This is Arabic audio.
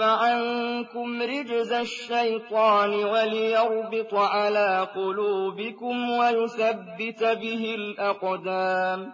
عَنكُمْ رِجْزَ الشَّيْطَانِ وَلِيَرْبِطَ عَلَىٰ قُلُوبِكُمْ وَيُثَبِّتَ بِهِ الْأَقْدَامَ